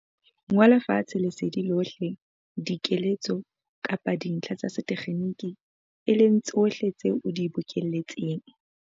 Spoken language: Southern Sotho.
Ngola fatshe lesedi lohle, dikeletso kapa dintlha tsa sethekgenike, e leng tsohle tseo o di bokelletseng.